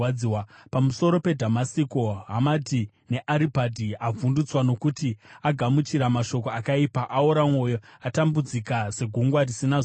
Pamusoro peDhamasiko: “Hamati neAripadhi avhundutswa, nokuti agamuchira mashoko akaipa. Aora mwoyo, atambudzika segungwa risina zororo.